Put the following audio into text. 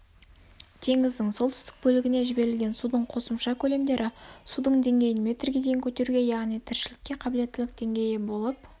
теңіздің солтүстік бөлігіне жіберілген судың қосымша көлемдері судың деңгейін метрге дейін көтеруге яғни тіршілікке қабылеттілік деңгейі болып